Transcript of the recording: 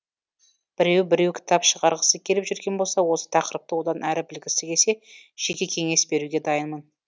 біреу біреу кітап шығарғысы келіп жүрген болса осы тақырыпты одан әрі білгісі келсе жеке кеңес беруге дайынмын